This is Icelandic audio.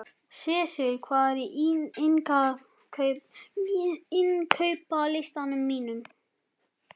Sesil, hvað er á innkaupalistanum mínum?